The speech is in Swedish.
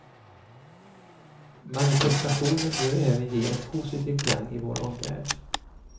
Manifestationen bör även ge en positiv klang i vår omvärld.